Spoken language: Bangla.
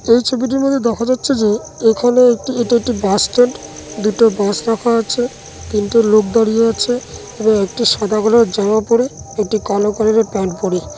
এই ছবিটির মধ্যে দেখা যাচ্ছে যে এখানে একটি এটা একটি বাস স্ট্যান্ড দুটো বাস রাখা আছে তিনটে লোক দাঁড়িয়ে আছে এবং একটি সাদা কালার জামা পরে এটি কালো কালারের প্যান্ট পরে ।